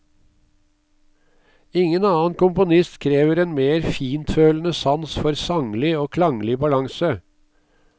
Ingen annen komponist krever en mer fintfølende sans for sanglig og klanglig balanse.